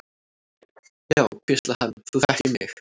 Já, hvíslaði hann, þú þekkir mig.